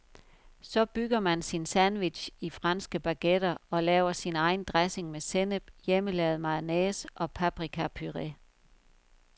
Så bygger man sin sandwich i franske baguetter og laver sin egen dressing med sennep, hjemmelavet mayonnaise og paprikapuré.